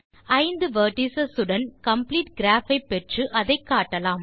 5 vertices உடன் complete graph ஐ பெற்று அதை காட்டலாம்